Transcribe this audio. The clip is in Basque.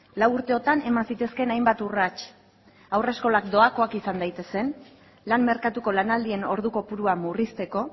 lau urteotan eman zitezkeen hainbat urrats haurreskolak doakoak izan daitezen lan merkatuko lanaldien ordu kopurua murrizteko